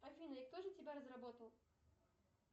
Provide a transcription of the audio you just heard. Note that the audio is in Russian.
афина и кто же тебя разработал